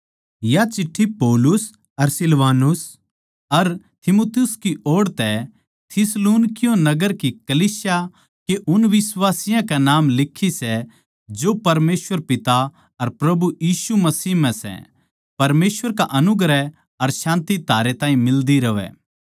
या चिट्ठी पौलुस अर सिलवानुस अर तीमुथियुस की ओड़ तै थिस्सलुनीकियों नगर की कलीसिया के उन बिश्वासियाँ के नाम लिखी सै जो परमेसवर पिता अर प्रभु यीशु मसीह म्ह सै परमेसवर का अनुग्रह अर शान्ति थारै ताहीं मिल्दी रहवै